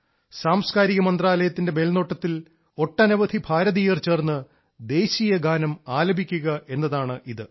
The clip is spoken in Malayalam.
സാംസ്കാരിക മന്ത്രാലയത്തിന്റെ മേൽനോട്ടത്തിൽ ഒട്ടനവധി ഭാരതീയർ ചേർന്ന് ദേശീയഗാനം ആലപിക്കുക എന്നതാണിത്